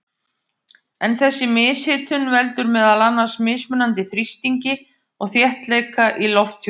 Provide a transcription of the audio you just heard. En þessi mishitun veldur meðal annars mismunandi þrýstingi og þéttleika í lofthjúpnum.